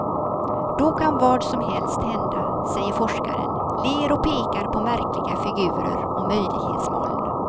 Då kan vad som helst hända, säger forskaren, ler och pekar på märkliga figurer och möjlighetsmoln.